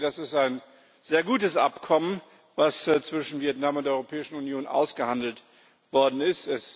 Ich denke, das ist ein sehr gutes Abkommen, was zwischen Vietnam und der Europäischen Union ausgehandelt worden ist.